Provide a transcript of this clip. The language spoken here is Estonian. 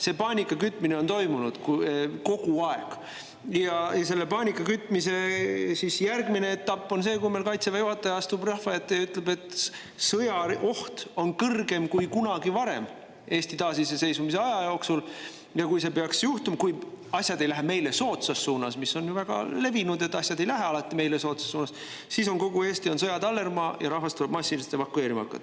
See paanikakütmine on toimunud kogu aeg ja selle paanikakütmise järgmine etapp on see, kui Kaitseväe juhataja astub rahva ette ja ütleb, et sõjaoht on kõrgem kui kunagi varem taasiseseisvunud Eesti ajaloo jooksul ja kui peaks juhtuma nii, et asjad ei lähe meile soodsas suunas, mis on ju väga levinud, asjad ei lähe alati meile soodsas suunas, siis on kogu Eesti sõja tallermaa ja rahvast tuleb massiliselt evakueerima hakata.